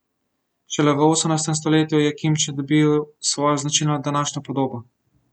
Šele v osemnajstem stoletju je kimči dobil svojo značilno današnjo podobo.